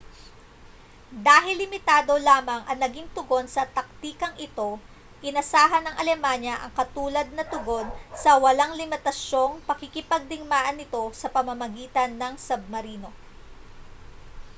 dahil limitado lamang ang naging tugon sa taktikang ito inasahan ng alemanya ang katulad na tugon sa walang limitasyong pakikipagdigmaan nito sa pamamagitan ng submarino